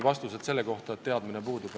Aitäh!